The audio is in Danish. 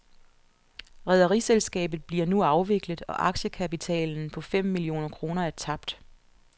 Rederiselskabet bliver nu afviklet, og aktiekapitalen på fem millioner kroner er tabt.